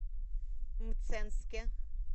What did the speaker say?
мценске